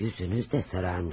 Üzünüz də sararmış.